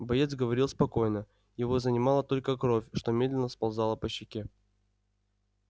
боец говорил спокойно его занимала только кровь что медленно сползала по щеке